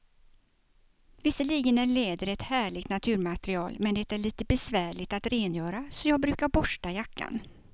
Visserligen är läder ett härligt naturmaterial, men det är lite besvärligt att rengöra, så jag brukar borsta jackan.